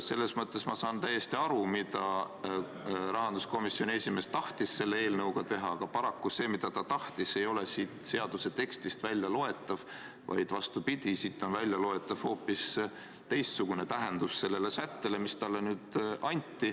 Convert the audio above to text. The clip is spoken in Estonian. Selles mõttes saan ma täiesti aru, mida rahanduskomisjoni esimees tahtis selle eelnõuga teha, aga paraku see, mida ta tahtis, ei ole siit seaduse tekstist väljaloetav, vaid vastupidi, siit on väljaloetav hoopis teistsugune tähendus sellele sättele.